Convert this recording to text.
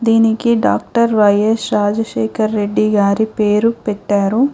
దీనికి doctor Y S Rajasekhar Reddy గారి పేరు పెట్టారు.